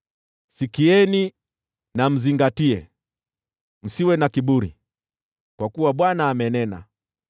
Sikieni na mzingatie, msiwe na kiburi, kwa kuwa Bwana amenena.